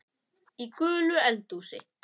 Í gulu eldhúsi